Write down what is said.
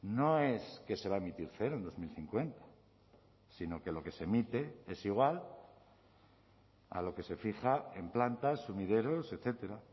no es que se va a emitir cero en dos mil cincuenta sino que lo que se emite es igual a lo que se fija en plantas sumideros etcétera